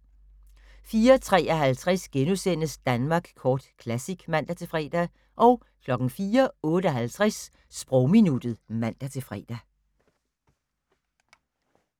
04:53: Danmark Kort Classic *(man-fre) 04:58: Sprogminuttet (man-fre)